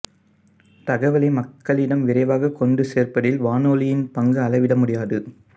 தகவலை மக்களிடம் விரைவாக கொண்டு சேர்ப்பதில் வானொலியின் பங்கு அளவிடமுடியாதது